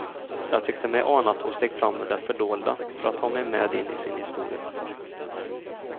Jag tyckte mig ana att hon steg fram ur det fördolda för att ta mig med in i sin historia.